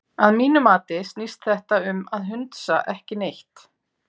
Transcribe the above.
Að mínu mati snýst þetta um hundsa ekki neitt.